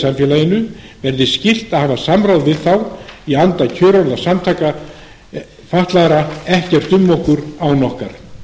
samfélaginu verði skylt að hafa samráð við þá í anda kjörorða evrópusamtaka fatlaðra ekkert um okkur án okkar